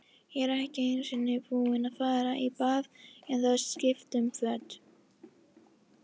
Ég er ekki einu sinni búinn að fara í bað eða skipta um föt.